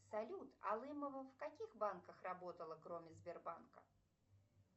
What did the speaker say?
салют алымова в каких банках работала кроме сбербанка